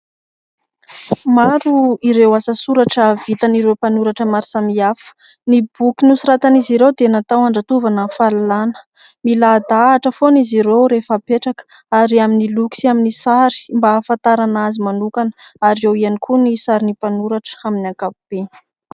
Maro ireo asa soratra vitan'ireo mpanoratra maro samihafa. Ny boky nosoratan'izy ireo dia natao andratovanany fahalalàna. Miladahatra foana izy ireo rehefa apetraka ary amin'ny loko sy amin'ny sary mba hahafantarana azy manokana ary eo ihany koa ny sarin'ny mpanoratra amin'ny ankapobe.